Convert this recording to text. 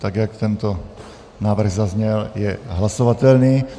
Tak, jak tento návrh zazněl, je hlasovatelný.